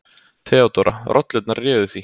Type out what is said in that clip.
THEODÓRA: Rollurnar réðu því.